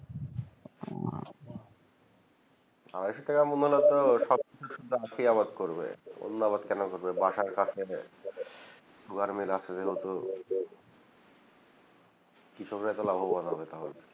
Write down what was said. আড়াইশো টাকা মিললে সব তো আখ ই আবাদ করবে অন্য আবাদ কোনো করবে বাসার কাছে sugar mill আছে যেহুতু কৃষক রাই তো লাভবান হবে তাহলে